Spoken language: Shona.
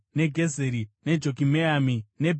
neJokimeami, neBheti Horoni,